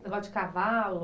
Negócio de cavalo?